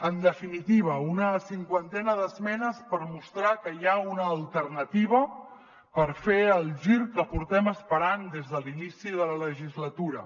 en definitiva una cinquantena d’esmenes per mostrar que hi ha una alternativa per fer el gir que portem esperant des de l’inici de la legislatura